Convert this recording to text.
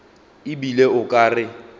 e bile o ka re